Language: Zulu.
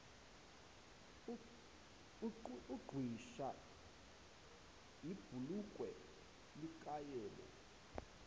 uqhwisha ibhulokwe likayebo